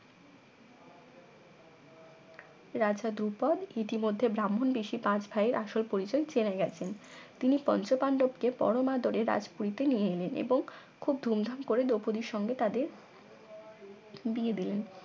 রাজা ধ্রুপদ ইতিমধ্যে ব্রাহ্মণ বেশে পাঁচ ভাইয়ের আসল পরিচয় জেনে গেছেন তিনি পঞ্চপান্ডবকে পরম আদরে রাজপুরীতে নিয়ে এলেন এবং খুব ধুমধাম করে দ্রৌপদীর সঙ্গে তাদের বিয়ে দিলেন